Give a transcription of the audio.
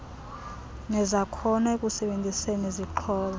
nezakhono ekusebenziseni zixhobo